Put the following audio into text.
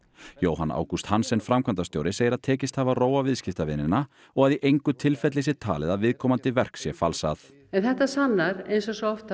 Jóhann Ágúst Hansen framkvæmdastjóri segir að tekist hafi að róa viðskiptavinina og að í engu tilfelli sé talið að viðkomandi verk sé falsað en þetta sannar eins og svo oft